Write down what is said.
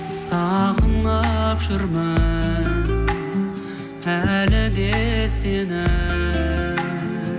сағынып жүрмін әлі де сені